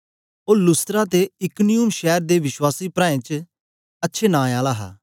ओ Lystra ते Iconium शैर दे विश्वासी प्राऐं च अच्छे नां आला हा